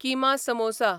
keema samosa